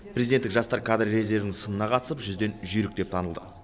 президенттік жастар кадр резервінің сынына қатысып жүзден жүйрік деп танылды